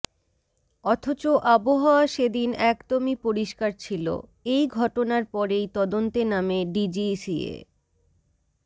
অথচ আবহাওয়া সেদিন একদমই পরিস্কার ছিল এই ঘটনার পরেই তদন্তে নামে ডিজিসিএ